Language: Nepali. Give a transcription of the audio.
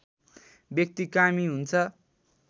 व्यक्ति कामी हुन्छ